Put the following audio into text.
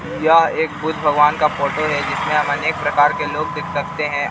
यह एक बुद्ध भगवान का फोटो है जिसमें अनेक प्रकार के लोग देख सकते हैं।